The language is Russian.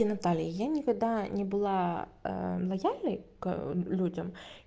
и наталья я никогда не была лояльной к людям